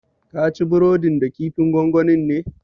Kaci burodin da kifin gongonin ne?